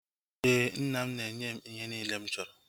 Éè, nna m na-enye m ihe niile mụ chọrọ